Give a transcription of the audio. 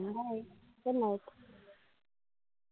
Good night